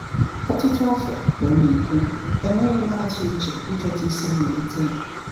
"Ọtụtụ afọ," ka ọ na-ekwu, "enweghị m atụ uche ịchọta isi mmalite ya."